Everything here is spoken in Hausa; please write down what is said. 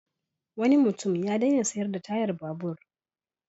Wani mutum ya daina sayar da tayar babur.